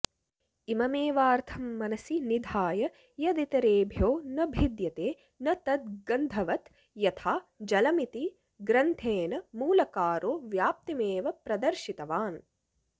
इममेवार्थं मनसि निधाय यदितरेभ्यो न भिद्यते न तद् गन्धवत् यथा जलमिति ग्रन्थेन मूलकारो व्याप्तिमेव प्रदर्शितवान्